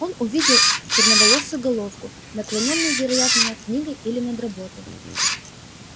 в одном увидел он черноволосую головку наклонённую вероятно над книгой или над работой